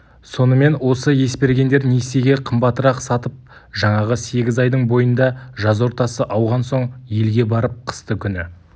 сонымен осы есбергендер несиеге қымбатырақ сатып жаңағы сегіз айдың бойында жаз ортасы ауған соң елге барып қысты күні